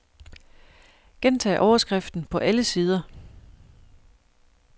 Gentag overskriften på alle sider.